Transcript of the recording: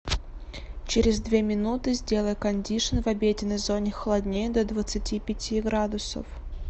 через две минуты сделай кондишн в обеденной зоне холоднее до двадцати пяти градусов